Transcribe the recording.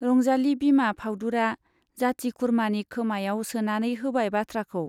रंजाली बिमा फाउदुरा जाति-खुरमानि खोमायाव सोनानै होबाय बाथ्राखौ।